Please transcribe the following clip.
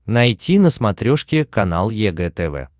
найти на смотрешке канал егэ тв